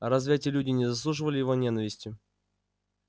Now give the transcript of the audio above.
разве эти люди не заслуживали его ненависти